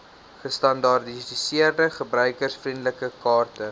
gestandaardiseerde gebruikervriendelike kaarte